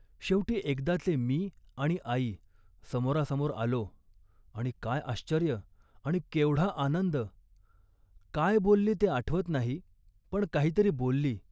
शेवटी एकदाचे मी आणि आई समोरासमोर आलो आणि काय आश्चर्य आणि केवढा आनंद. काय बोलली ते आठवत नाही पण काहीतरी बोलली